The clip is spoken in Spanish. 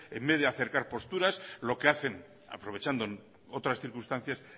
en vez de acercar posturas lo que hacen aprovechando otras circunstancias